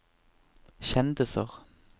kjendiser